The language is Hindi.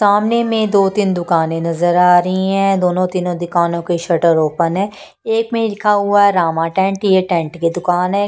सामने में दो-तीन दुकानें नजर आ रही है दोनों तीनों दुकानों के शर्टर ओपन है एक में लिखा हुआ है रामा टेंट ये टेंट के दुकान है।